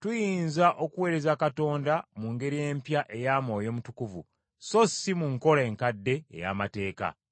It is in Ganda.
tuyinza okuweereza Katonda mu ngeri empya eya Mwoyo Mutukuvu, so si mu nkola enkadde ey’amateeka.